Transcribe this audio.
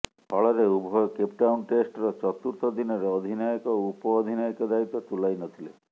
ଫଳରେ ଉଭୟ କେପଟାଉନ ଟେଷ୍ଟ୍ର ଚତୁର୍ଥ ଦିନରେ ଅଧିନାୟକ ଓ ଉପ ଅଧିନାୟକ ଦାୟିତ୍ୱ ତୁଲାଇ ନଥିଲେ